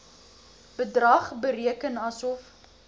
bedrag bereken asof